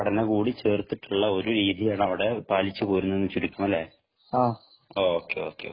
കൂടി പഠനം കൂടി ചേർത്തിട്ടുള്ളൊരു ഒരു രീതിയാണ് അവിടെ പാലിച്ചു പോരുന്നത് എന്ന് ചുരുക്കം അല്ലെ ഓക്കേ